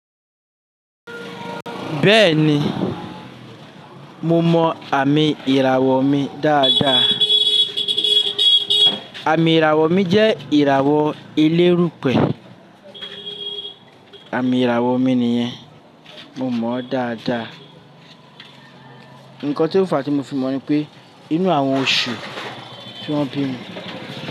Bẹ́ẹ̀ni, mo mọ àmì ìràwọ̀ mi dáadáa. Àmì ìràwọ̀ mi jẹ́ ìràwọ̀ elérùpẹ̀. Àmì ìràwọ̀ mi nìyẹn. Mo mọ ó dáadáa. Ǹkan tí ó fà á tí mo fi mọ̀ ni pé inú àwọn oṣù tí wọ́n bí mi.